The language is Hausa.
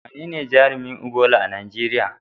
Wanene jarumin Ebola a Najeriya?